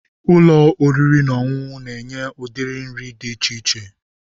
Ụlọ oriri na ọṅụṅụ na-enye ụdị nri dị iche iche.